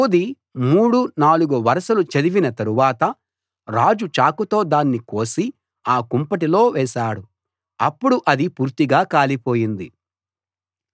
Jehudi మూడు నాలుగు వరుసలు చదివిన తరువాత రాజు చాకుతో దాన్ని కోసి ఆ కుంపటిలో వేశాడు అప్పుడు అది పూర్తిగా కాలిపోయింది